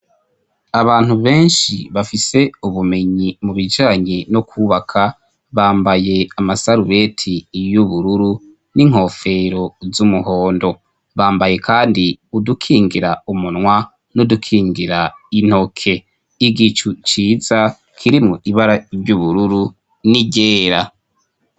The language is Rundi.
Abantu benshi bafise ubumenyi mu bijanye no kubaka, bambaye amasarubeti y'ubururu n'inkofero z'umuhondo, bambaye kandi udukingira umunwa n'udukingira intoke, igicu ciza kirimwo ibara ry'ubururu n'iryera.